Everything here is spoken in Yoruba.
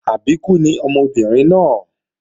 Àbíkú ni ọmọbìnrin náà